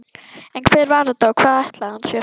En hver var þetta og hvað ætlaði hann sér?